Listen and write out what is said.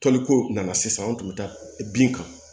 Toliko nana sisan an tun bɛ taa bin kan